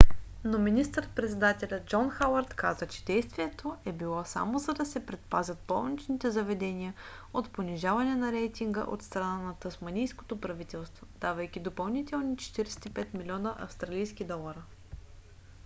но министър - председателят джон хауърд каза че действието е било само за да се предпазят болничните заведения от понижаване на рейтинга от страна на тасманийското правителство давайки допълнителни 45 милиона австралийски долара